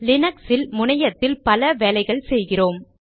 லீனக்ஸில் முனையத்தில் பல வேலைகள் செய்கிறோம்